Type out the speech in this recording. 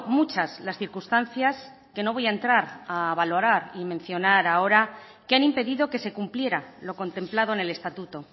muchas las circunstancias que no voy a entrar a valorar y mencionar ahora que han impedido que se cumpliera lo contemplado en el estatuto